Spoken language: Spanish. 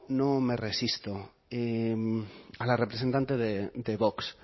no me resisto a la representante de vox